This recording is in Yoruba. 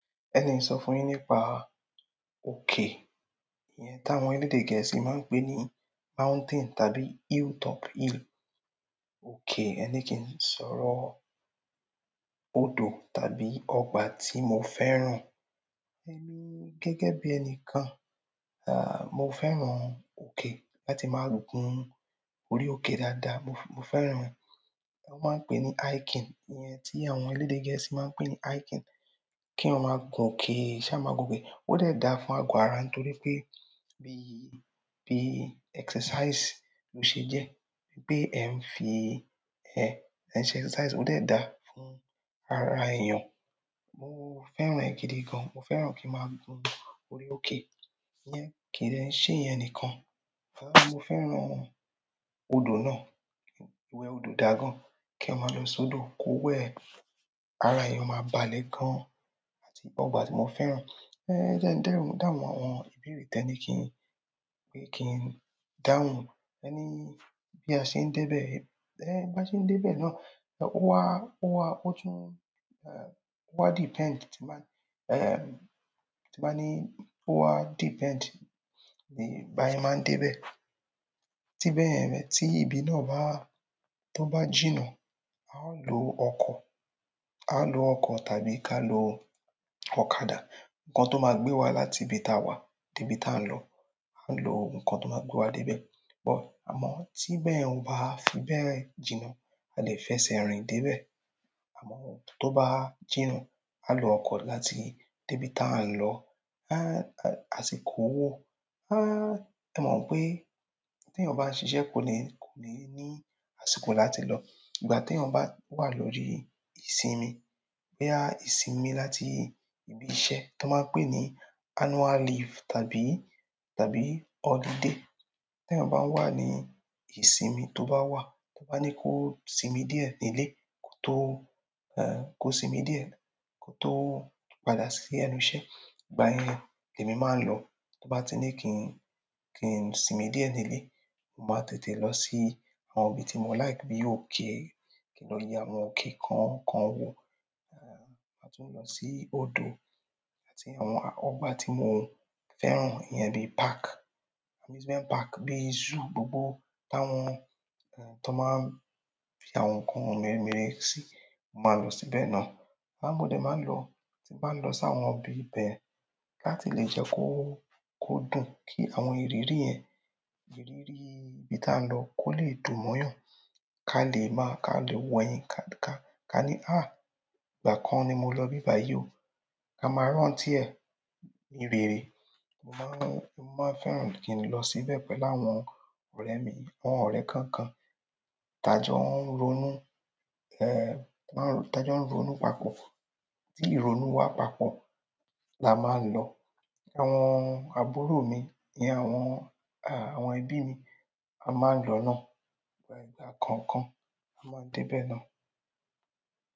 Ẹni ń sọ fún yín nípa òkè, ìyẹn tí àwọn elédè gẹ̀ẹ́sì máa ń pè ní mountain tàbí hilltop hill. OK, ẹni kí n sọ̀rọ̀ odo tàbí ọgbà tí mo fẹ́ràn. Emi gẹ́gẹ́ bi enikan, mo fẹ́ràn oke láti maa gun orí oke dáadáa. Mo, f--mo--f fẹ́ràn wọ́n máa ń pè ní hiking, ìyẹn tí àwọn elédè gẹ̀ẹ́sì máa ń pè ní hiking. Kí eeyan máa gun òkè, ṣa máa gun be? Ó dé da fún ago ara nítorí pé bí, bí exercise ló ṣe jẹ́. Bí pé ẹ ń fi ẹ, ẹ ń ṣe exercise ó dé da fún ara èèyàn. Mo fẹ́ràn ẹ́ gidi gan. Mo fẹ́ràn kí n máa gun orí òkè. Iyẹn kín dẹ ń ṣe iyẹn nìkan. À mo fẹ́ràn odò náà. Iwẹ odò dá gan. Kí eeyan máa lọ sodo kó wẹ́, ara èèyàn máa balẹ̀ gan. Àti ọgbà tí mo fẹ́ràn. Ẹ̀ jẹ́ ń dẹ́rùn dáhùn àwọn ìbéèrè tẹ́ ni kí n, pé kí n dáhùn. Ẹ́ ní bí a ṣe ń dé bẹ. Ẹ̀ bá ṣe ń dé bẹ náà, ó wá, ó wá, ó tún, ó wá depend tí n bá ńi, tí n bá ní ó wá depend bí bi a sé máa ń dé bẹ. Tí bẹ́yẹ̀n mẹ, tí ibi náà bá, tó bá jìnnà, a o lọ ọkọ̀, a lọ ọkọ̀ tàbí ká lọ ọ̀kadà. Ǹnkan tó máa gbé wa láti ibi táa wà dé ibi táa ń lọ. A n lọ oogun kan tó máa gbé wa dé bẹ. But, àmọ́ tí ibẹ́yẹ̀n ò bá fi bẹ́ẹ̀ jìnnà, a lè fẹsẹ̀ rìn dé bẹ. Àmọ́ tó bá jìnnà, a lọ ọkọ̀ láti dé ibi táa ń lọ. A--a--asì kó wó. Ẹ mọ̀ wipé tí èèyàn bá ń ṣiṣẹ́ kò ní, kò ní ní àsìkò láti lọ. Ìgbà tí èèyàn bá wà lórí ìsinmi, pé a ìsinmi láti ibi iṣẹ́ tan máa ń pè ní annual leave tàbí, tàbí holiday. Tí èèyàn bá wà ní ìsinmi tó bá wà, tó bá ní kó sinmi díẹ̀ nílé kó tó, kó sinmi díẹ̀ kó tó padà sí ẹnu iṣẹ́. Ìgbà yẹn èmi máa ń lọ. Tó bá ti ní kí n, kí n sinmi díẹ̀ nílé, mo máa tètè lọ sí àwọn ibi tí mo like bí i òkè. Kí n lọ ye àwọn òkè kan, kan wò. Màá tún lọ sí odò àti àwọn ọgbà tí mo fẹ́ràn. Iyẹn bí i park, amusement park, bí i zoo, gbogbo táwọn, tan máa ń fi àwọn nǹkan meremere sí, mo máa lọ síbẹ̀ náà. Ìgbà mi mo dé máa ń lọ, tí n bá n lọ sí àwọn ibi bẹ́ẹ̀ láti lè jẹ́ kó, kó dùn. Ki àwọn ìrírí yen, ìrírí ibi tan lo ko le dùn mo yan kalẹ̀ maa ka le wo eyin ka--ka--ka ni ìgbà kan ni mo lo ibi bayi o. Ká máa rántí ẹ̀ ní rere. Mo máa ń, mo máa fẹ́ràn kín lọ síbẹ̀ pẹ̀lú àwọn ọ̀rẹ́ mi, àwọn ọ̀rẹ́ kọ̀ọ̀kan. Tàjọ ń ronú, máa ń rò, tàjọ ń ronú papọ̀. Tí ìronú wá papọ̀ la máa ń lọ. Àwọn àbúrò mi ní àwọn, àwọn ẹbí mi, a máa ń lọ náà. Ìgbà, ìgbà kọ̀ọ̀kan a máa ń dé bẹ́ẹ̀ náà.